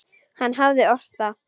Hann hafði ort það.